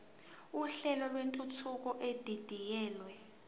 uhlelo lwentuthuko edidiyelwe